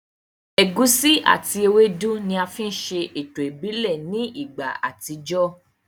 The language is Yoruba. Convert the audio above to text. Ẹ̀gusi àti ewédú ni a fi ń ṣe ètò ìbílẹ̀ ní ìgbà àtijọ́